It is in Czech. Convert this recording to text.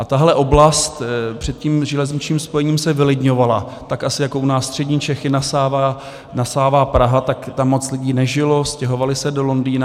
A tahle oblast před tím železničním spojením se vylidňovala, tak asi jako u nás střední Čechy nasává Praha, tak tam moc lidí nežilo, stěhovali se do Londýna.